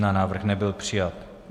Návrh nebyl přijat.